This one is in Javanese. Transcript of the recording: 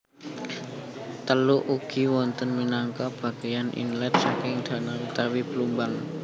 Teluk ugi wonten minangka bageyan inlet saking dano utawi blumbang